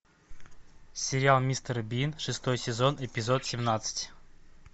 сериал мистер бин шестой сезон эпизод семнадцать